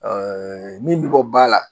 Ɛɛ min bi bɔ ba la.